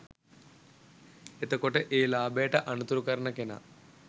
එතකොට ඒ ලාභයට අනතුරු කරන කෙනා